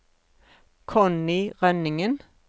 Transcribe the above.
Connie Rønningen